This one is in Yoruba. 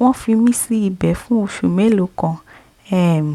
wọ́n fi mí sí ibẹ̀ fún oṣù mélòó kan um